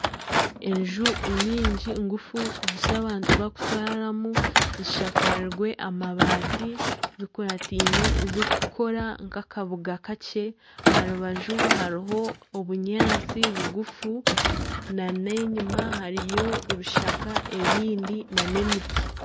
Enju nyingi ngufu z'abantu barikutura mu zishakarize amabaati, zikurateine zikikora nka akabuga kakye. Aharubaju hariho obunyaatsi bugufu nana enyima hariyo ebishaka ebindi nana emiti.